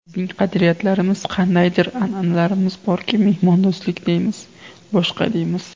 Bizning qadriyatlarimiz, qandaydir an’analarimiz borki, mehmondo‘stlik deymiz, boshqa deymiz.